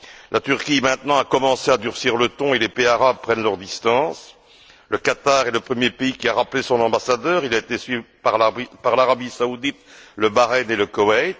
La Turquie a maintenant commencé à durcir le ton et les pays arabes prennent leurs distances le Qatar est le premier pays qui a rappelé son ambassadeur, il a été suivi par l'Arabie saoudite, le Bahreïn et le Koweït.